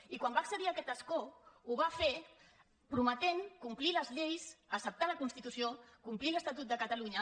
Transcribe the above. i quan va accedir a aquest escó ho va fer prometent complir les lleis acceptar la constitució i complir l’estatut de catalunya